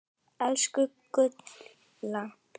Elsku Gulla.